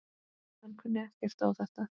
Hann kunni ekkert á þetta.